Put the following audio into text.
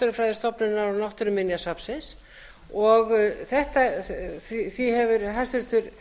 að skipta á milli náttúrufræðistofnunar og náttúruminjasafnsins því hefur hæstvirtur